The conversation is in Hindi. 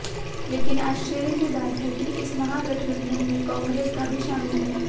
लेकिन आश्चर्य की बात है कि इस महागठबंधन में कांग्रेस का भी शामिल है